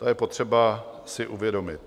To je potřeba si uvědomit.